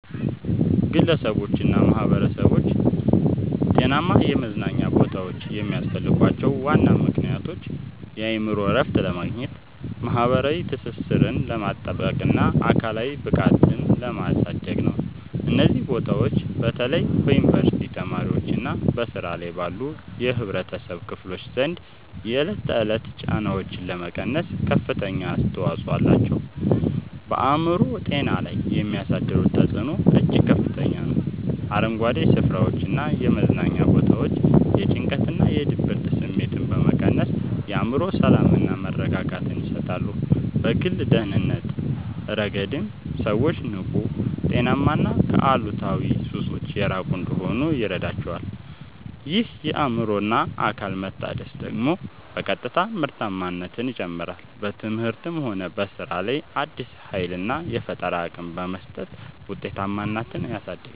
ግለሰቦችና ማኅበረሰቦች ጤናማ የመዝናኛ ቦታዎች የሚያስፈልጓቸው ዋና ምክንያቶች የአእምሮ እረፍት ለማግኘት፣ ማኅበራዊ ትስስርን ለማጥበቅና አካላዊ ብቃትን ለማሳደግ ነው። እነዚህ ቦታዎች በተለይ በዩኒቨርሲቲ ተማሪዎችና በሥራ ላይ ባሉ የኅብረተሰብ ክፍሎች ዘንድ የዕለት ተዕለት ጫናዎችን ለመቀነስ ከፍተኛ አስተዋጽኦ አላቸው። በአእምሮ ጤና ላይ የሚያሳድሩት ተጽዕኖ እጅግ ከፍተኛ ነው፤ አረንጓዴ ስፍራዎችና የመዝናኛ ቦታዎች የጭንቀትና የድብርት ስሜትን በመቀነስ የአእምሮ ሰላምና መረጋጋትን ይሰጣሉ። በግል ደህንነት ረገድም ሰዎች ንቁ: ጤናማና ከአሉታዊ ሱሶች የራቁ እንዲሆኑ ይረዳቸዋል። ይህ የአእምሮና አካል መታደስ ደግሞ በቀጥታ ምርታማነትን ይጨምራል: በትምህርትም ሆነ በሥራ ላይ አዲስ ኃይልና የፈጠራ አቅም በመስጠት ውጤታማነትን ያሳድጋል።